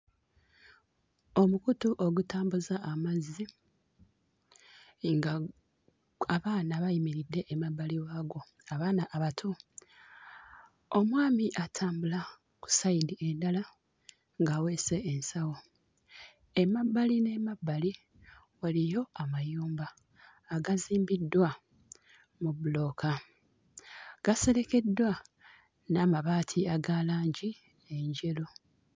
Omukutu ogutambuza amazzi nga abaana bayimiridde emabbali waagwo, abaana abato. Omwami atambula ku sayidi endala ng'aweese ensawo. Emabbali n'emabbali waliyo amayumba agazimbiddwa mu bbulooka, gaserekeddwa n'amabaati aga langi enjeru.